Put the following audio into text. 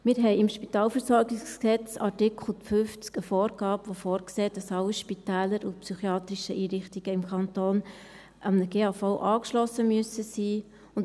Wir haben im Spitalversorgungsgesetz (SpVG), in Artikel 50, eine Vorgabe, die vorsieht, dass alle Spitäler und psychiatrischen Einrichtungen im Kanton einem GAV angeschlossen sein müssen.